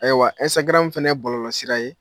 Ayiwa nsagram fana ye bɔlɔlɔsira ye.